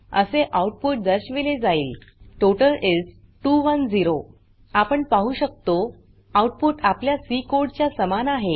असे आउटपुट दर्शविले जाईल टोटल इस 210 आपण पाहु शकतो आउटपुट आपल्या Cकोड च्या समान आहे